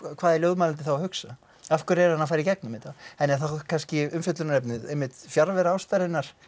hvað er ljóðmælandi þá að hugsa af hverju er hann að fara í gegnum þetta er þá kannski umfjöllunarefnið fjarvera ástarinnar